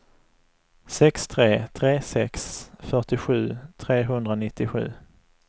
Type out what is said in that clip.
sex tre tre sex fyrtiosju trehundranittiosju